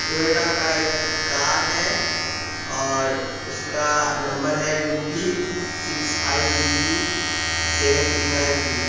Toyota का एक car है और उसका नंबर है U P six five B B seven three nine three --